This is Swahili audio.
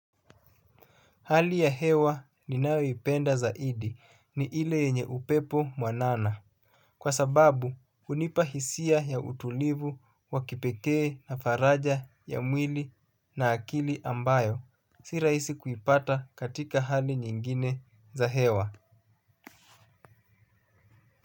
Hali ya hewa ninayoipenda zaidi ni ile yenye upepo mwanana. Kwa sababu hunipa hisia ya utulivu wa kipekee na faraja ya mwili na akili ambayo. Si rahisi kuipata katika hali nyingine za hewa.